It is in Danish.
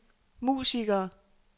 musikere